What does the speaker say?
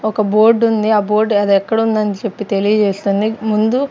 ఒక బోర్డుంది ఆ బోర్డు అదెక్కడుందని చెప్పి తెలియజేస్తుంది ముందు--